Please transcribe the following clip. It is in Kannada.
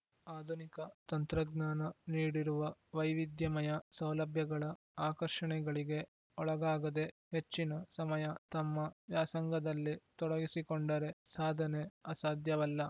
ಆಧುನಿಕ ತಂತ್ರಜ್ಞಾನ ನೀಡಿರುವ ವೈವಿಧ್ಯಮಯ ಸೌಲಭ್ಯಗಳ ಆಕರ್ಷಣೆಗಳಿಗೆ ಒಳಗಾಗದೆ ಹೆಚ್ಚಿನ ಸಮಯ ತಮ್ಮ ವ್ಯಾಸಂಗದಲ್ಲಿ ತೊಡಗಿಸಿಕೊಂಡರೆ ಸಾಧನೆ ಅಸಾಧ್ಯವಲ್ಲ